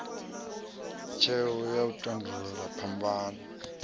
tsheo ya u tandulula phambano